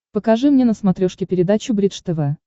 покажи мне на смотрешке передачу бридж тв